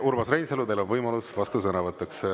Urmas Reinsalu, teil on võimalus vastusõnavõtuks.